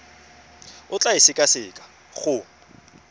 o tla e sekaseka go